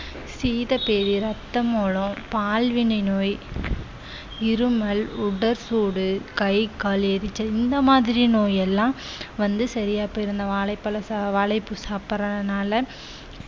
சீத பேதி ரத்த மூலம் பால்வினை நோய் இருமல் உடல் சூடு கை கால் எரிச்சல் இந்த மாதிரி நோய் எல்லாம் வந்து சரியா போயிடும் இந்த வாழைப்பழ சா~ வாழைப்பூ சாப்பிடுறதுனால